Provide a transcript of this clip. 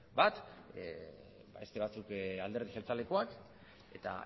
bat beste batzuk alderdi jeltzalekoak eta